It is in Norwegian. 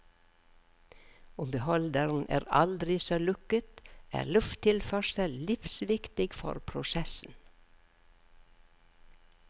Om beholderen er aldri så lukket, er lufttilførsel livsviktig for prosessen.